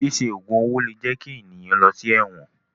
Ṣíṣe ògùn owó lè jẹ kí ènìyàn lọ sí ẹ̀wọ̀n.